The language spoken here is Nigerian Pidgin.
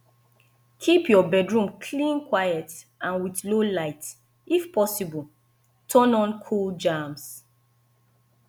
keep your bedroom clean quiet and with low light if possible turn on cool jams